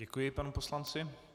Děkuji panu poslanci.